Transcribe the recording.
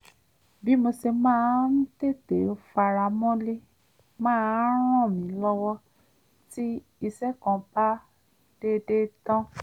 bí mo ṣe máa ń tètè faramọ́lé máa ń ràn mí lọ́wọ́ tí iṣẹ́ kan bá dédé tán